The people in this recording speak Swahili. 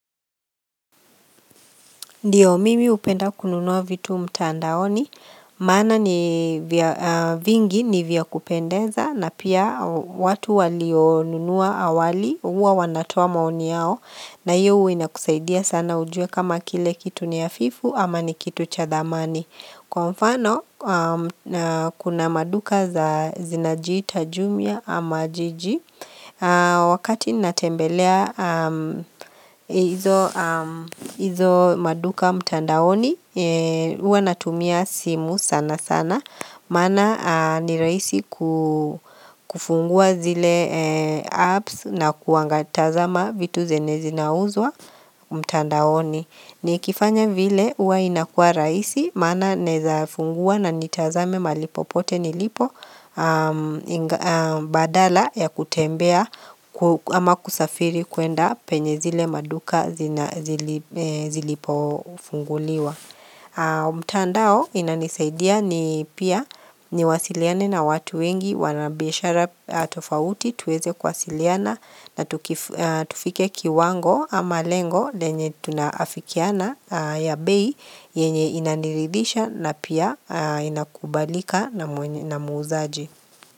Ndiyo mimi hupenda kununua vitu mtandaoni, maana ni vingi ni vya kupendeza na pia watu walionunua awali huwa wanatoa maoni yao na hiyo huwa inakusaidia sana ujue kama kile kitu ni hafifu ama ni kitu cha dhamani. Kwa mfano kuna maduka za zinajiita jumia ama jiji Wakati natembelea hizo maduka mtandaoni huwa natumia simu sana sana Maana ni rahisi kufungua zile apps na kuangatazama vitu zenye zinauzwa mtandaoni Nikifanya vile huwa inakua rahisi maana naezafungua na nitazame mahali popote nilipo badala ya kutembea ama kusafiri kuenda penye zile maduka zilipofunguliwa. Mtandao inanisaidia ni pia niwasiliane na watu wengi wanabiashara tofauti tuweze kuwasiliana na tufike kiwango ama lengo lenye tunaafikiana ya bei yenye inaniridhisha na pia inakubalika na muuzaji.